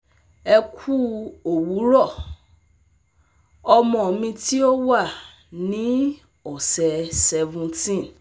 Ẹ kú òwúrọ̀! Ọmọ mi tí ó wà ní ọsẹ seventeen